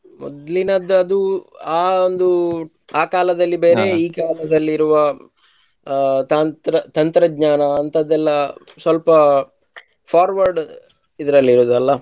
ಮೊದ್ಲಿನದ್ದು ಅದು ಆ ಒಂದು ಆಕಾಲದಲ್ಲಿ ಬೇರೆ ಈ ಕಾಲದಲ್ಲಿ ಇರುವ ತಾಂತ್ರ~ ತಂತ್ರಜ್ಞಾನ ಅಂಥದ್ದೆಲ್ಲ ಸ್ವಲ್ಪ forward ಇದ್ರಲ್ ಇರೋದಲ್ಲ.